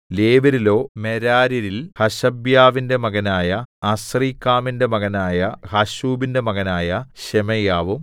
ലേവ്യരിലോ മെരാര്യരിൽ ഹശബ്യാവിന്റെ മകനായ അസ്രീക്കാമിന്റെ മകനായ ഹശ്ശൂബിന്റെ മകനായ ശെമയ്യാവും